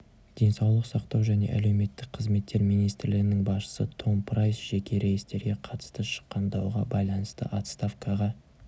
денсаулық сақтау және әлеуметтік қызметтер министрлігінің басшысы том прайс жеке рейстерге қатысты шыққан дауға байланысты отставкаға